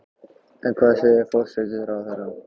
En hvað segir forsætisráðherra?